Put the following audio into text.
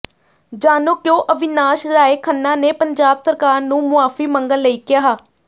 ਜਾਣੋ ਕਿਉਂ ਅਵਿਨਾਸ਼ ਰਾਏ ਖੰਨਾ ਨੇ ਪੰਜਾਬ ਸਰਕਾਰ ਨੂੰ ਮੁਆਫੀ ਮੰਗਣ ਲਈ ਕਿਹਾ